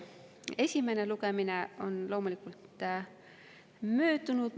Esimene lugemine on loomulikult möödunud.